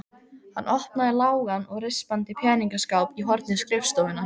Hann opnaði lágan og rispaðan peningaskáp í horni skrifstofunnar.